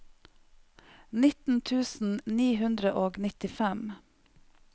nitten tusen ni hundre og nittifem